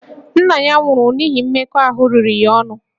Nna ya nwụrụ n'ihi mmekọahụ riri ya ahụ